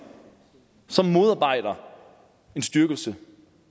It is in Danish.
som modarbejder en styrkelse